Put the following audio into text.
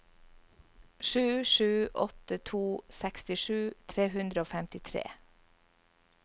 sju sju åtte to sekstisju tre hundre og femtitre